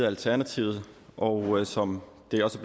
alternativet og som det også